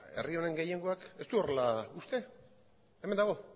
herri honen gehiengoak ez du horrela uste hemen dago